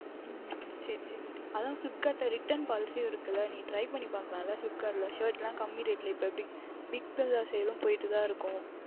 உம் உம் சரி சரி ஆனால் Flipkart ல் Return policy உம் இருக்கின்றது ல நீங்கள் Try பண்ணி பார்க்கலாம் ல Shirt லாம் குறைந்த Rate ல இப்பொழுது BigBig billion sale உம் போய்க்கொண்டு தான் இருக்கும்